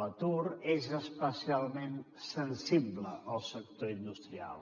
l’atur és especialment sensible al sector industrial